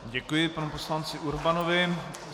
Děkuji panu poslanci Urbanovi.